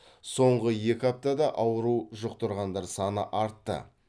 соңғы екі аптада ауру жұқтырғандар саны артты